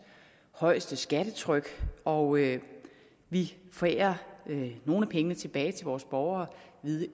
højeste skattetryk og vi forærer nogle af pengene tilbage til vores borgere